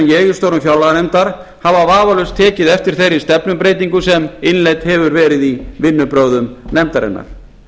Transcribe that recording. ég í störfum fjárlaganefndar hafa vafalaust tekið eftir þeirri stefnubreytingu sem innleidd hefur verið í vinnubrögðum nefndarinnar